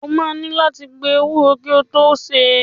O máa ní láti gbo ewúro kí o tó sè é.